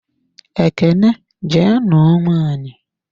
Ekene jee nuo nwaanyị!